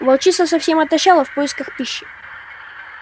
волчица совсем отощала в поисках пищи